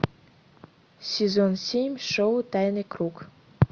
сезон семь шоу тайный круг